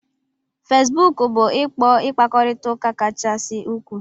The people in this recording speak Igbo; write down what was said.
Fesbuku bu ikpo mkpakorita uka kachasị ukwuu